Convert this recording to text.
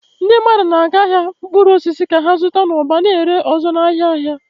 Ndị mmadụ na-aga ahịa mkpụrụ osisi ka ha zụta n'ụba, na-ere ọzọ n'ahịa ahịa.